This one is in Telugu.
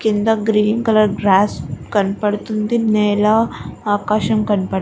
కింద గ్రీన్ కలర్ గ్రాస్ కనపడుతుంది నేల ఆకాశం కనపడుతుంది.